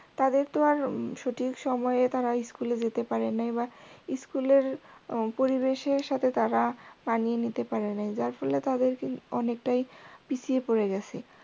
তাদের তো আর সঠিক সময়ে তারা school এ যেতে পারেনাই বা school র পরিবেশের সাথে তারা মানিয়ে নিতে পারেনাই যার ফলে তাদের অনেক টায় পিছিয়ে পরে গিয়েসে।